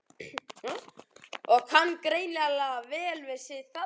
Og kann greinilega vel við sig þarna!